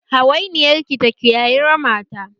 Hawainiyar ki ta kiyayi rama ta!